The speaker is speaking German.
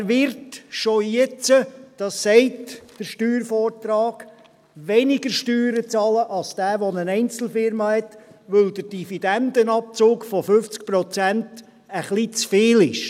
Er wird bereits jetzt, das sagt der Steuervortrag, weniger Steuern bezahlen als derjenige, der eine Einzelfirma hat, weil der Dividendenabzug von 50 Prozent ein bisschen zu viel ist.